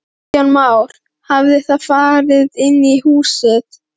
Kristján Már: Hafið þið farið inn í húsið?